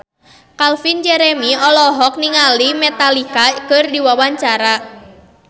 Calvin Jeremy olohok ningali Metallica keur diwawancara